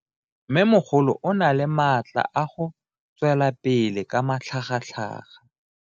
Mmemogolo o na le matla a go tswelela pele ka matlhagatlhaga.